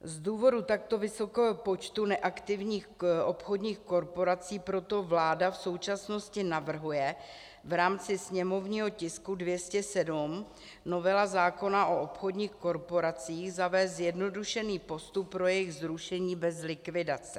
Z důvodu takto vysokého počtu neaktivních obchodních korporací proto vláda v současnosti navrhuje v rámci sněmovního tisku 207, novela zákona o obchodních korporacích, zavést zjednodušený postup pro jejich zrušení bez likvidace.